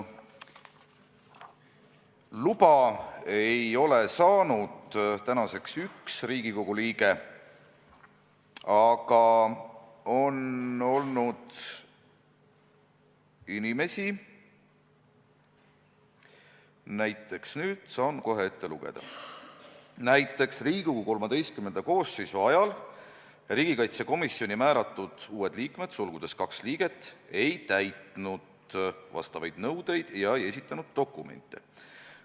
Luba ei ole saanud tänaseks üks Riigikogu liige, aga on olnud inimesi – nüüd saan kohe ette lugeda –, näiteks, "Riigikogu XIII koosseisu ajal riigikaitsekomisjoni määratud uued liikmed ei täitnud vastavaid nõudeid ja ei esitanud dokumente.